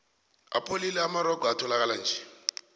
apholile amarogo etholakalanje